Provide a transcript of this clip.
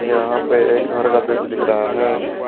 यहां पे एक घर का दृश्य दिख रहा है।